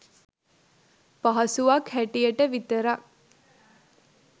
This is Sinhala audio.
පහසුවක් හැටියට විතරක්